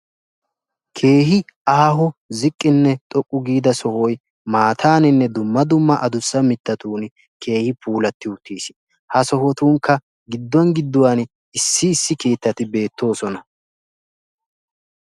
Keehi aaho ziqqinne xoqqu giida sohoy maattaninne harabbatunni puulatti uttiis.